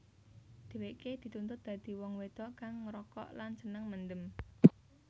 Dheweke dituntut dadi wong wedok kang ngrokok lan seneng mendem